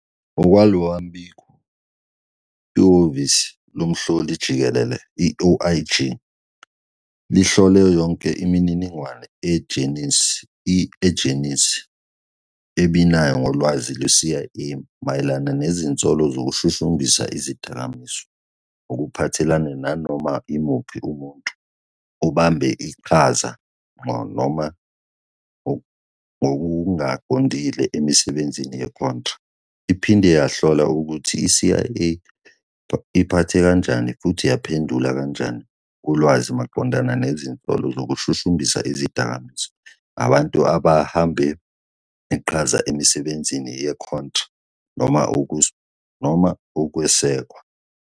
Ngokwalo mbiko, ihhovisi loMhloli-Jikelele, i-OIG, lihlole yonke imininingwane i-ejensi "ebinayo ngolwazi lweCIA mayelana nezinsolo zokushushumbisa izidakamizwa ngokuphathelene nanoma imuphi umuntu obambe iqhaza ngqo noma ngokungaqondile emisebenzini yeContra."Iphinde yahlola "ukuthi i-CIA iphathe kanjani futhi yaphendula kanjani kulwazi maqondana nezinsolo zokushushumbisa izidakamizwa" ngabantu ababambe iqhaza emisebenzini ye-Contra noma ukwesekwa.